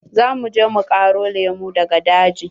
Za mu je mu ƙaro lemu daga daji.